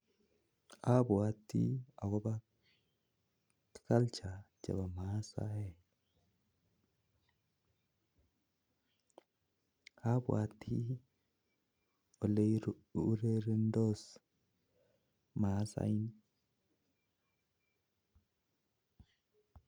Abwoti culture chebo masaek abwoti ale urerendos masaek